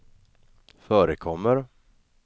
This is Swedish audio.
förekommer